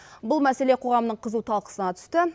бұл мәселе қоғамның қызу талқысына түсті